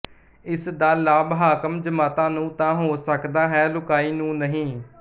ਇਸ ਦਾ ਲਾਭ ਹਾਕਮ ਜਮਾਤਾਂ ਨੂੰ ਤਾਂ ਹੋ ਸਕਦਾ ਹੈ ਲੁਕਾਈ ਨੂੰ ਨਹੀਂ